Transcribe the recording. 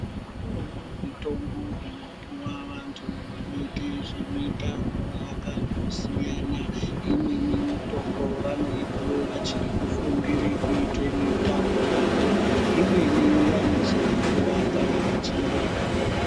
Kunewo mitombo inopiwa vantu vanoite zvemitambo yakandosiyana. Imweni mitombo vanoipiwa vachirikufundire kuitemitambo yavo, imweni vanozoipiwa kana vechinge vakuwara.